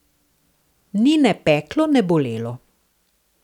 Ni ne peklo ne bolelo.